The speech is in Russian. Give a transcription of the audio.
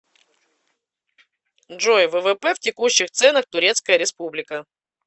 джой ввп в текущих ценах турецкая республика